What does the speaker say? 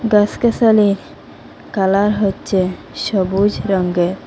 গাসগাসালির colour হচ্চে সবুজ রঙ্গে।